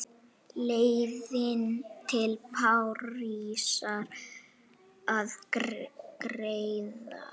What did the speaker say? Leiðin til Parísar var greið.